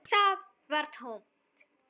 Það var tómt.